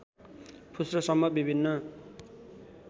फुस्रो सम्म विभिन्न